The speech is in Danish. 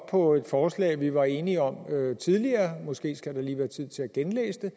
på et forslag vi var enige om tidligere måske skal der lige være tid til at genlæse det